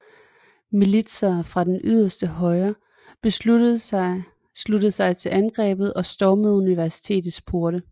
Militser fra det yderste højre sluttede sig til angrebet og stormede universitetets porte